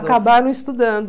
Acabaram estudando.